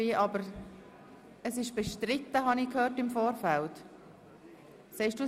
– Ich habe im Vorfeld gehört, der Vorstoss sei bestritten.